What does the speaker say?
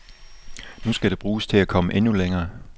Nu skal det bruges til at komme endnu længere.